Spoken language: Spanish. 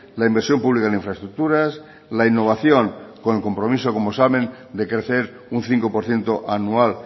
la inversión pública en infraestructuras la innovación con el compromiso como examen de crecer un cinco por ciento anual